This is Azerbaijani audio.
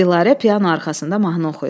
Dilarə piano arxasında mahnı oxuyur.